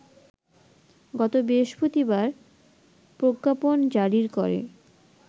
গত বৃহস্পতিবার প্রজ্ঞাপন জারির করে